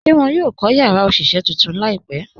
Ṣé wọn yóò kọ̀ yàrá òṣiṣẹ̀ tuntun laípẹ̀?